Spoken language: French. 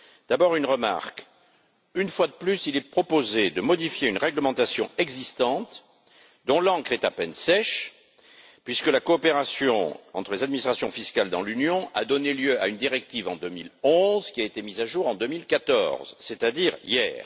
D'abord, une remarque une fois de plus, il est proposé de modifier une réglementation existante dont l'encre est à peine sèche, puisque la coopération entre les administrations fiscales dans l'Union a donné lieu à une directive en 2011 qui a été mise à jour en 2014, c'est à dire hier.